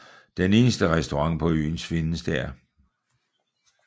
Den eneste restaurant på øen findes der